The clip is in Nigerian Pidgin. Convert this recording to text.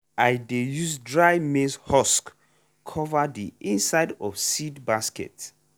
i dey use dry maize husk cover the inside of seed basket.